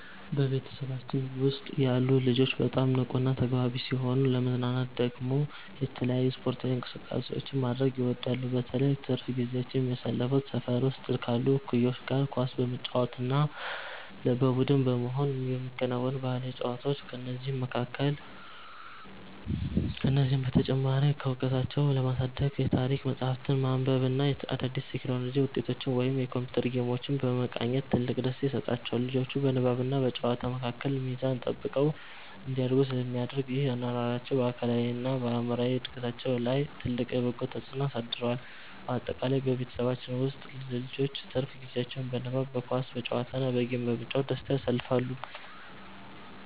በቤተሰባችን ውስጥ ያሉ ልጆች በጣም ንቁና ተግባቢ ሲሆኑ፣ ለመዝናናት ደግሞ የተለያዩ ስፖርታዊ እንቅስቃሴዎችን ማድረግ ይወዳሉ። በተለይ ትርፍ ጊዜያቸውን የሚያሳልፉት ሰፈር ውስጥ ካሉ እኩዮቻቸው ጋር ኳስ በመጫወት እና በቡድን በመሆን በሚከወኑ ባህላዊ ጨዋታዎች ነው። ከዚህም በተጨማሪ እውቀታቸውን ለማሳደግ የታሪክ መጽሐፍትን ማንበብ እና አዳዲስ የቴክኖሎጂ ውጤቶችን ወይም የኮምፒውተር ጌሞችን መቃኘት ትልቅ ደስታ ይሰጣቸዋል። ልጆቹ በንባብና በጨዋታ መካከል ሚዛን ጠብቀው እንዲያድጉ ስለሚደረግ፣ ይህ አኗኗራቸው በአካላዊና በአእምሮ እድገታቸው ላይ ትልቅ በጎ ተጽዕኖ አሳድሯል። ባጠቃላይ በቤተሰባችን ውስጥ ልጆች ትርፍ ጊዜያቸውን በንባብ፣ በኳስ ጨዋታ እና በጌም በመጫወት በደስታ ያሳልፋሉ።